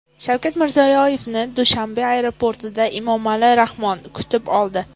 Shavkat Mirziyoyevni Dushanbe aeroportida Emomali Rahmon kutib oldi.